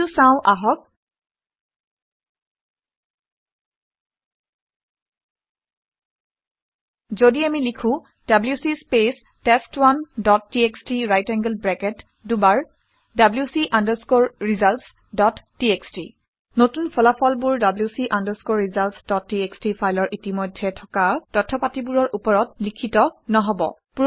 এইটো চাওঁ আহক। যদি আমি লিখো - ডব্লিউচি স্পেচ টেষ্ট1 dot T X T right angled bracket দুবাৰ W C underscore results dot T X T নতুন ফলাফলবোৰ W C underscore results dot T X T ফাইলৰ ইতিমধ্যে থকা তথ্য পাতিবোৰৰ ওপৰত লিখিত নহব